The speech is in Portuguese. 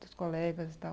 Dos colegas e tal.